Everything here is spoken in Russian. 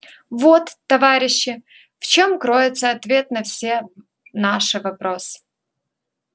вот товарищи в чём кроется ответ на все наши вопросы